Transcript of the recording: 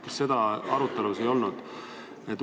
Kas seda arutelu ei olnud?